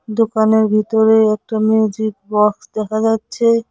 দোকানের ভিতরে একটা মিউজিক বক্স দেখা যাচ্ছে।